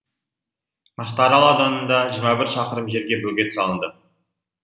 мақтаарал ауданында жиырма бір шақырым жерге бөгет салынды